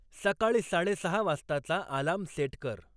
सकाळी साडेसहा वाजताचा अलार्म सेट कर